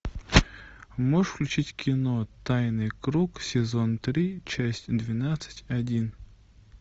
можешь включить кино тайный круг сезон три часть двенадцать один